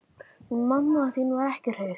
Hún mamma þín var ekki hraust.